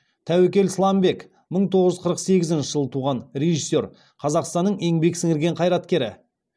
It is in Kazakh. тәуекел сламбек мың тоғыз жүз қырық сегізінші жылы туған режиссер қазақстанның еңбек сіңірген қайраткері